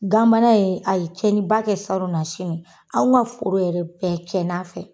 Ganbana in a ye cɛnniba kɛ saron nasini an ka foro yɛrɛ bɛɛ cɛnn'a fɛ.